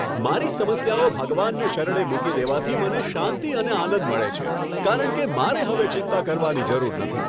મારી સમસ્યાઓ ભગવાનને શરણે મૂકી દેવાથી મને શાંતિ અને આનંદ મળે છે, કારણ કે મારે હવે ચિંતા કરવાની જરૂર નથી.